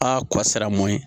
A kɔsara mun ye